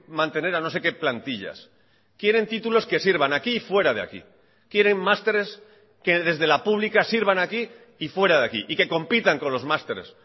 mantener a no sé qué plantillas quieren títulos que sirvan aquí y fuera de aquí quieren másteres que desde la pública sirvan aquí y fuera de aquí y que compitan con los másteres